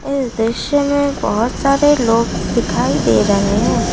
इस दृश्य में बहुत सारे लोग दिखाई दे रहे हैं।